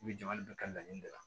U bɛ jama bɛɛ kɛ laɲini de la